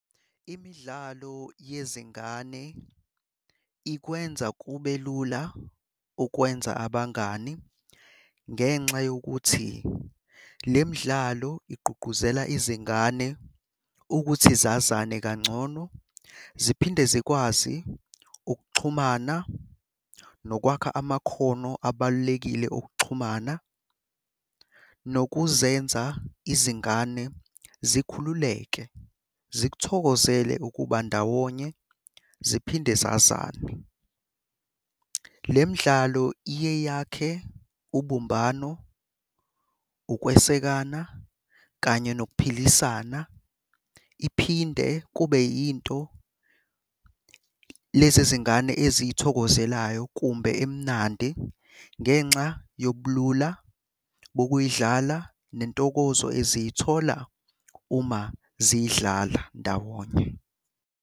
Imidlalo yezingane ikwenza kube lula ukwenza abangani ngenxa yokuthi le midlalo igqugquzela izingane ukuthi zazane kangcono ziphinde zikwazi ukuxhumana nokwakha amakhono abalulekile okuxhumana nokuzenza izingane zikhululeke, zikuthokozele ukuba ndawonye ziphinde zazane. Le midlalo iye yakhe ubumbano, ukwesekana, kanye nokuphilisana. Iphinde kube yinto lezi zingane eziyithokozelayo kumbe emnandi ngenxa yobulula bokuyidlala nentokozo eziyithola uma ziyidlala ndawonye.